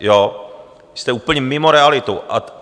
Jste úplně mimo realitu.